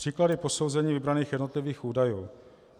Příklady posouzení vybraných jednotlivých údajů.